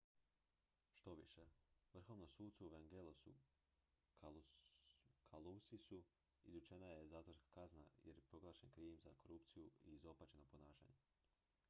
štoviše vrhovnom sucu evangelosu kalousisu izrečena je zatvorska kazna jer je proglašen krivim za korupciju i izopačeno ponašanje